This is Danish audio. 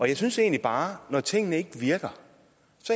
jeg synes egentlig bare at når tingene ikke virker